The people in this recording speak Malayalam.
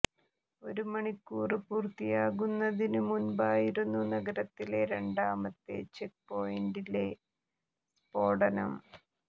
ഒരു മണിക്കൂര് പൂര്ത്തിയാകുന്നതിനു മുമ്പായിരുന്നു നഗരത്തിലെ രണ്ടാമത്തെ ചെക്ക് പോയിന്റില് സ്ഫോടനം